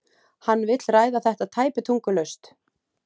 Hann vill ræða þetta tæpitungulaust.